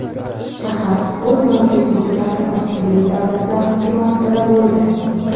Shahar o‘z mavjudligi davrida turli davlatlar hukmi ostida bo‘ldi.